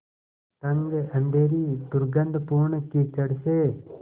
तंग अँधेरी दुर्गन्धपूर्ण कीचड़ से